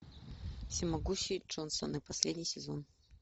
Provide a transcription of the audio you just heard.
всемогущие джонсоны последний сезон